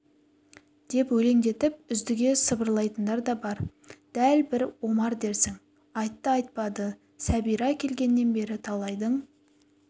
деп өлеңдетіп үздіге сыбырлайтындар да бар дәл бір омар дерсің айтты-айтпады сәбира келгеннен бері талайдың